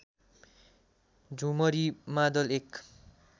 झुमरी मादल एक